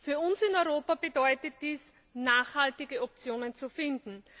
Für uns in Europa bedeutet dies, nachhaltige Optionen zu finden.